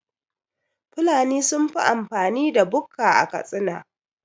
Fulani sunfi amfani da bukka a Katsina